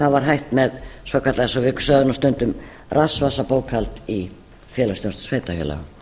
það var hætt með svokallað eins og við sögðum stundum rassvasabókhald í félagsþjónustu sveitarfélaga